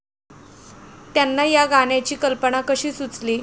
त्यांना या गाण्याची कल्पना कशी सुचली?